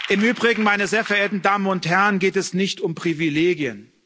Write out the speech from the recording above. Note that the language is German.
Im Übrigen, meine sehr verehrten Damen und Herren, geht es nicht um Privilegien.